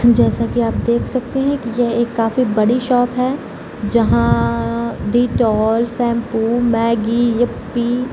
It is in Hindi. जैसा कि आप देख सकते है कि यह एक काफी बड़ी शॉप है जहां डेटोल शैम्पू मैगी येपी --